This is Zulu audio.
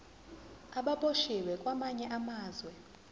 ababoshwe kwamanye amazwe